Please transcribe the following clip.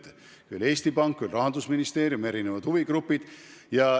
Küll on seda arutanud Eesti Pank, küll Rahandusministeerium, küll erinevad huvigrupid.